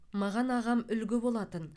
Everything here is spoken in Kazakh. маған ағам үлгі болатын